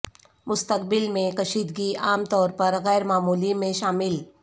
مستقبل میں کشیدگی عام طور پر غیر معمولی میں شامل